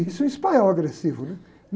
Isso é um espanhol agressivo, né?